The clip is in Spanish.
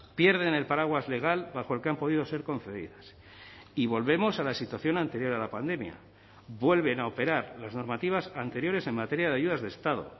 pierden el paraguas legal bajo el que han podido ser concedidas y volvemos a la situación anterior a la pandemia vuelven a operar las normativas anteriores en materia de ayudas de estado